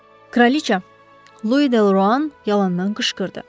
Kraliça, Louis Delrouan yalandan qışqırdı.